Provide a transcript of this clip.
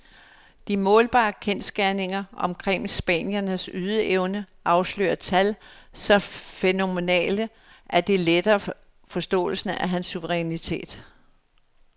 De målbare kendsgerninger omkring spanierens ydeevne afslører tal så fænomenale, at det letter forståelsen af hans suverænitet.